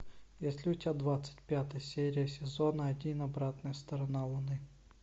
есть ли у тебя двадцать пятая серия сезона один обратная сторона луны